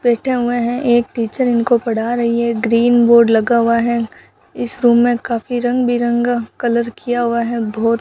बैठे हुए हैं एक टीचर इनको पढ़ा रही है ग्रीन बोर्ड लगा हुआ है इस रूम में काफी रंग बिरंगा कलर किया हुआ है बहोत --